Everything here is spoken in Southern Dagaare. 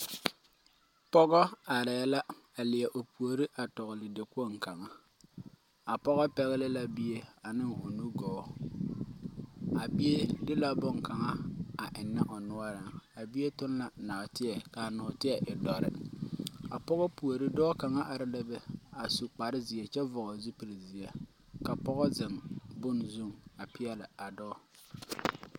Pɔgɔ. are la a leɛ o puori kyaare dakpoŋi kaŋa, a pɔgɔ pegele la bie ane o nugɔɔ, a bie de la bonkaŋa enne o noɔreŋ a bie toŋ la nɔɔteɛ kaa nɔɔteɛ e doɔre, a pɔgɔ puori dɔɔ kaŋa. are la be,a su kparre zeɛ kyɛ vɔgeli zupile zeɛ ka pɔgɔ zeŋ bon zu a pɛɛle a dɔɔ.